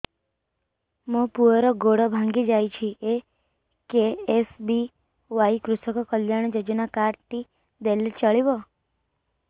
ମୋ ପୁଅର ଗୋଡ଼ ଭାଙ୍ଗି ଯାଇଛି ଏ କେ.ଏସ୍.ବି.ୱାଇ କୃଷକ କଲ୍ୟାଣ ଯୋଜନା କାର୍ଡ ଟି ଦେଲେ ଚଳିବ